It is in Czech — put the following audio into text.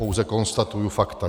Pouze konstatuji fakta.